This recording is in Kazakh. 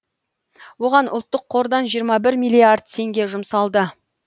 оған ұлттық қордан жиырма бір миллиард теңге жұмсалды